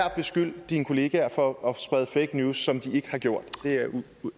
at beskylde dine kollegaer for at sprede fake news som de ikke har gjort